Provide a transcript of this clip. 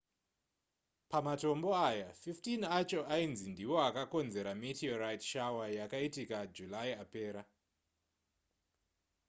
pamatombo aya 15 acho ainzi ndiwo akakonzera meterorite shower yakaitika july apera